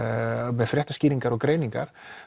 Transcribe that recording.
með fréttaskýringar og greiningar